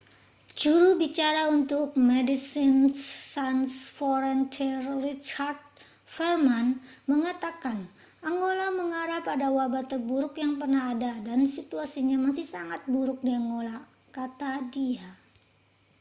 "juru bicara untuk medecines sans frontiere richard veerman mengatakan: angola mengarah pada wabah terburuk yang pernah ada dan situasinya masih sangat buruk di angola, kata dia.